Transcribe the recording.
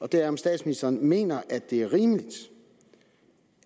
det er om statsministeren mener at det er rimeligt